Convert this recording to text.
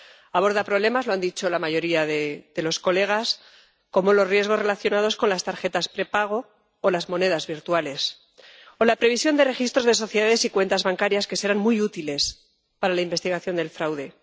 Aborda problemas —lo han dicho la mayoría de los colegas— como los riesgos relacionados con las tarjetas prepago o las monedas virtuales, o la previsión de registros de sociedades y cuentas bancarias, que serán muy útiles para la investigación del fraude.